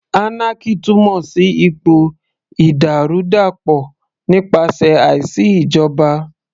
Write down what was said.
Anarchy túmọ̀ sí ipò ìdàrúdàpọ̀ nípasẹ̀ àìsí ìjọba